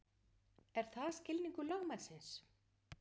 Er það skilningur lögmannsins?